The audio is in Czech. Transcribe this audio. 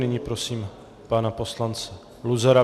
Nyní prosím pana poslance Luzara.